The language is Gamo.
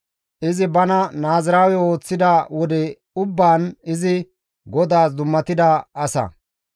Izi bana Naaziraawe ooththida wode ubbaan izi GODAAS dummatida asa.